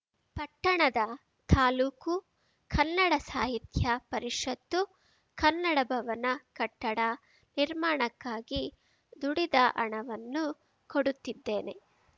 ಪಟ್ಟಣದ ತಾಲೂಕು ಕನ್ನಡ ಸಾಹಿತ್ಯ ಪರಿಷತ್ತುಕನ್ನಡ ಭವನ ಕಟ್ಟಡ ನಿರ್ಮಾಣಕ್ಕಾಗಿ ದುಡಿದ ಹಣವನ್ನು ಕೊಡುತ್ತಿದ್ದೇನೆ